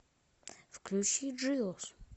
включи джиос